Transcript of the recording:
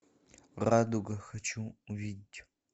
радуга хочу увидеть